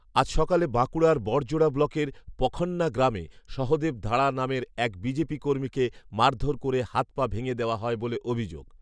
আজ সকালে বাঁকুড়ার বড়জোড়া ব্লকের পখন্না গ্রামে সহদেব ধাড়া নামের এক বিজেপি কর্মীকে মারধর করে হাত পা ভেঙে দেওয়া হয় বলে অভিযোগ